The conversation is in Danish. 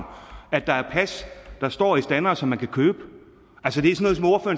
at der er pas der står i standere som man kan købe